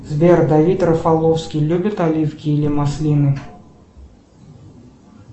сбер давид рафаловский любит оливки или маслины